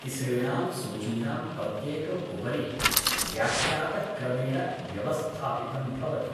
तिसृणां सूचीनां प्रत्येकम् उपरि व्याख्यातक्रमेण व्यवस्थापितं भवति ।